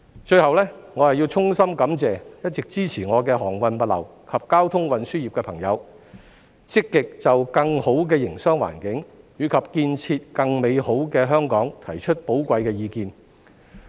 最後，我要衷心感謝一直支持我的航運物流及交通運輸業的朋友積極就更好的營商環境及建設更美好的香港提出寶貴的意見。